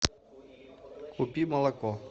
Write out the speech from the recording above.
купи молоко